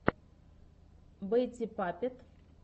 бэтти паппет